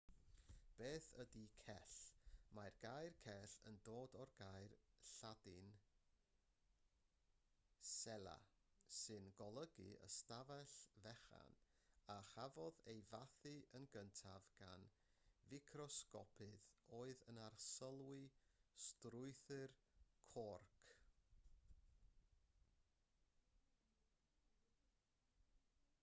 beth ydy cell mae'r gair cell yn dod o'r gair lladin cella sy'n golygu ystafell fechan a chafodd ei fathu yn gyntaf gan ficrosgopydd oedd yn arsylwi strwythur corc